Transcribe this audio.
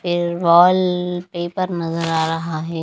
ये वॉलपेपर नजर आ रहा है।